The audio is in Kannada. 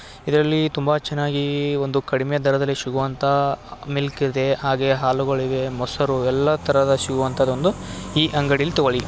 ಇದ್ರಲ್ಲಿ ತುಂಬಾ ಚನಾಗಿ ಈ ಒಂದು ಕಡಿಮೆ ದರದಲ್ಲಿ ಸಿಗೋ ಅಂತ ಮಿಲ್ಕ್ ಇದೆ ಹಾಗೆ ಹಾಲುಗಳಿವೆ ಮೊಸರು ಎಲ್ಲಾತರದ ಸಿಗೋ ಅಂತದ್ ಒಂದು ಈ ಅಂಗಡಿಲ್ ತಗೊಳ್ಳಿ --